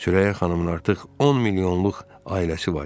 Sürəyya xanımın artıq 10 milyonluq ailəsi var idi.